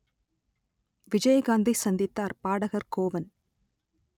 விஜயகாந்தை சந்தித்தார் பாடகர் கோவன்